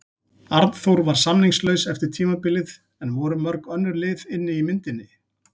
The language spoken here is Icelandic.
Arnþór var samningslaus eftir tímabilið en voru mörg önnur lið inni í myndinni?